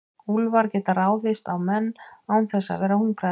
Úlfar geta ráðist á menn án þess að vera hungraðir.